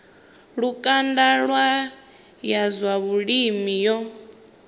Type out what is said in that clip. lukanda ya zwa vhulimi yo